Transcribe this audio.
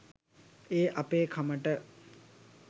ඒ අපේ කමට